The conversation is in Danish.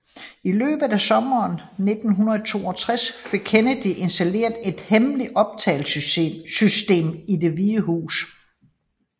I løbet af sommeren 1962 fik Kennedy installeret et hemmeligt optagelsessystem i Det hvide hus